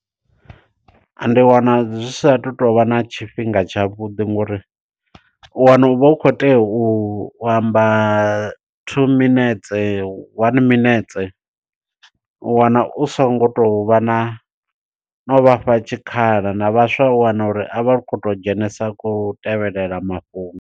Ndi wana zwi sa tu tovha na tshifhinga tsha vhuḓi, ngo uri u wana uvha u kho tea u amba two minetse, one minetse. U wana u songo tovha na no vhafha tshikhala na vhaswa u wana uri a vha kho to dzhenesa kho u tevhelela mafhungo.